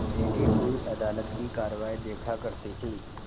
बैठी हुई अदालत की कारवाई देखा करती थी